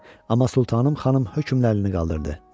Amma Sultanım xanım hökmlərini qaldırdı.